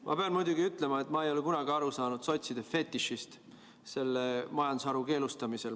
Ma pean muidugi ütlema, et ma ei ole kunagi aru saanud sotside fetišist selle majandusharu keelustamisel.